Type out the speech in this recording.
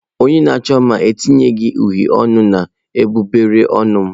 Onye na-achọ mma eteghi uhie ọnụ n'egbugbere ọnụ m.